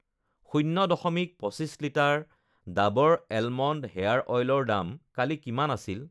শূন্য, দশমিক পঁচিছ লিটাৰ ডাৱৰ এলমণ্ড হেয়াৰ অইলৰ দাম কালি কিমান আছিল?